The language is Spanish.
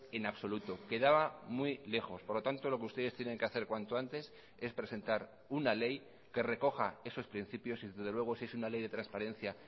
en absoluto quedaba muy lejos por lo tanto lo que ustedes tienen que hacer cuanto antes es presentar una ley que recoja esos principios y desde luego si es una ley de transparencia